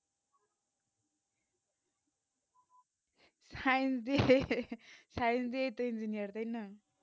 science দিয়ে science দিয়ে তো engineer তাই না